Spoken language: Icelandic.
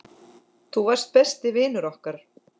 Þú varst besti vinur okkar.